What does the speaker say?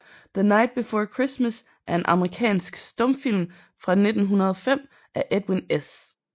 The Night Before Christmas er en amerikansk stumfilm fra 1905 af Edwin S